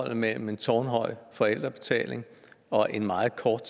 mellem en tårnhøj forældrebetaling og en meget kort